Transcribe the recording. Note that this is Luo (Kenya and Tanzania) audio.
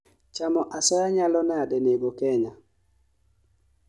Chamo asoya nyalo nadi nego Kenya?